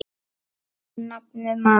Og nafnið, maður.